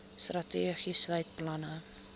strategie sluit planne